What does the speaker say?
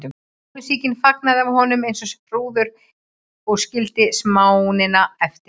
Móðursýkin flagnaði af honum eins og hrúður og skildi smánina eftir.